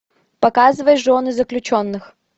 показывай жены заключенных